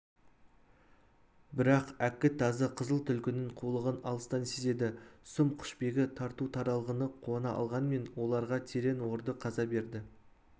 бірақ әккі тазы қызыл түлкінің қулығын алыстан сезеді сұм құшбегі тарту-таралғыны қуана алғанмен оларға терең орды қаза берді